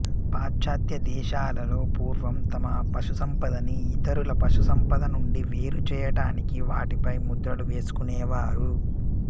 పాశ్చాత్య దేశాలలో పూర్వం తమ పశుసంపదని ఇతరుల పశుసంపద నుండి వేరు చేయటానికి వాటి పై ముద్రలు వేసుకొనేవారు